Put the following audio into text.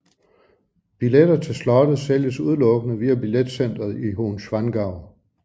Billetter til slottet sælges udelukkende via billetcenteret i Hohenschwangau